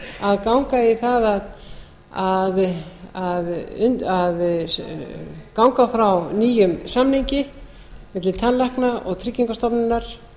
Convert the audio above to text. að ganga í það að ganga frá nýjum samningi milli tannlækna og tryggingastofnunar